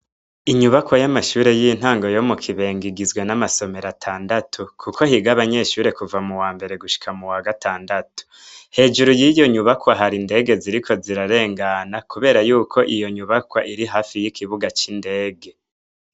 Inyubakwa y'amashure y'intango yo mu kibenga igizwe n'amasomero atandatu, kuko higa abanyeshure kuva mu wa mbere gushika mu wa gatandatu hejuru y'iyo nyubakwa hari indege ziriko zirarengana, kubera yuko iyo nyubakwa iri hafi y'ikibuga c'indege.